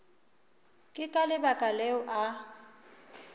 ke ka lebaka leo a